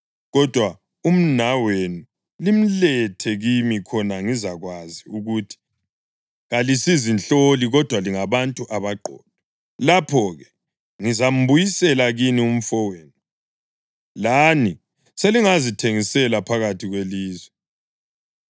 Kodwa umnawenu limlethe kimi khona ngizakwazi ukuthi kalisizinhloli, kodwa lingabantu abaqotho. Lapho-ke ngizambuyisela kini umfowenu, lani selingazithengisela phakathi kwelizwe.’ ”